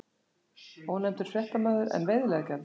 Ónefndur fréttamaður: En veiðileyfagjaldið?